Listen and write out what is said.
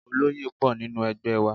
Oloye pọ̀ nínú ẹgbẹ́ wa.